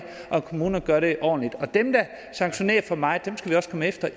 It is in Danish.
om kommunerne gør det ordentligt og dem der sanktionerer for meget